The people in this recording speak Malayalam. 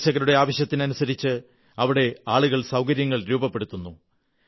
സന്ദർശകരുടെ ആവശ്യത്തിനനുസരിച്ച് അവിടെ ആളുകൾ സൌകര്യങ്ങൾ രൂപപ്പെടുത്തുന്നു